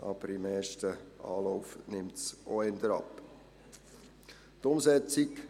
Aber, im ersten Anlauf nimmt es doch eher ab.